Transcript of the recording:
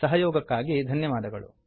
ಸಹಯೊಗಕ್ಕಾಗಿ ಧನ್ಯವಾದಗಳು